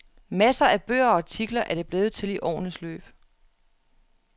Masser af bøger og artikler er det blevet til i årenes løb.